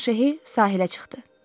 İyun Şehi sahilə çıxdı.